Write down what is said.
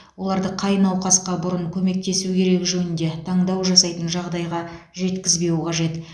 оларды қай науқасқа бұрын көмектесу керегі жөнінде таңдау жасайтын жағдайға жеткізбеу қажет